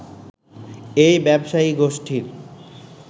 এই ব্যবসায়ী গোষ্ঠীর